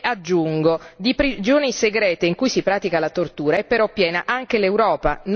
Aggiungo però che di prigioni segrete in cui si pratica la tortura è piena anche l'Europa.